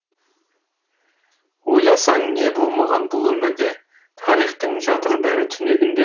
ойласаң не болмаған бұл өмірде тарихтың жатыр бәрі түнегінде